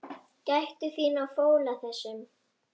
Gættu þín á fóla þessum.